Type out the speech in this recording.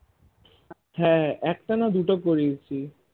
হ্যাঁ একটা না দুটো করিয়েছি